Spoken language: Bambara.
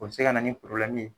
O bɛ se ka na ni